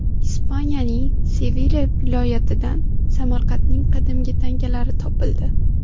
Ispaniyaning Sevilya viloyatidan Samarqandning qadimgi tangalari topildi.